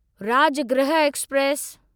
Rajgriha express